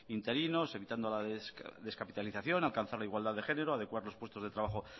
interinos evitando la descapitalización alcanzar la igualdad de género adecuar los puestos de trabajo